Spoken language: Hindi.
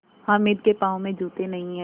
हामिद के पाँव में जूते नहीं हैं